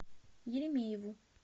еремееву